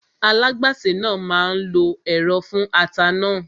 Alágbàsè náà máa lo ẹ̀rọ fún ata náà